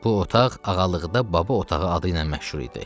Bu otaq ağalıqda baba otağı adı ilə məşhur idi.